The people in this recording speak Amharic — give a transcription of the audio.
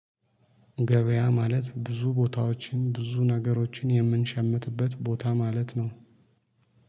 ገበያ ማለት ብዙ ቦታዎችን ብዙ ነገሮችን የምንሸምትበት ቦታ ማለት ነው